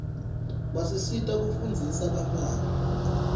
basisita kufundzisa bantfwana